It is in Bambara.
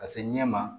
Ka se ɲɛma